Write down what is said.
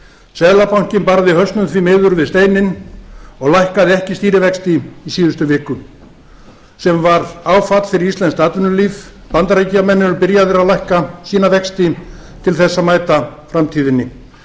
seðlabankinn barði hausnum því miður við steininn og lækkaði ekki stýrivexti í síðustu viku sem varð áfall fyrir íslenskt atvinnulíf bandaríkjamenn eru byrjaðir að lækka sína vexti til þess að mæta framtíðinni